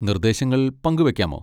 നിർദേശങ്ങൾ പങ്കുവെക്കാമോ?